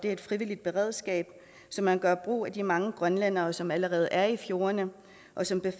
er et frivilligt beredskab så man gør brug af de mange grønlændere som allerede er i fjordene og som